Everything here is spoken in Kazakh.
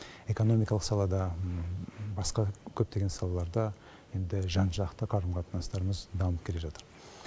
экономикалық салада басқа көптеген салаларда енді жан жақты қарым қатынастарымыз дамып келе жатыр